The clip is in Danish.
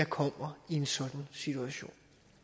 kommer i en sådan situation